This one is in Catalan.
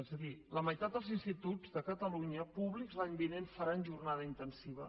és a dir la meitat dels instituts de catalunya públics l’any vinent faran jornada intensiva